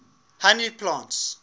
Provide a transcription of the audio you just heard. honey plants